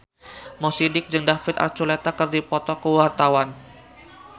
Mo Sidik jeung David Archuletta keur dipoto ku wartawan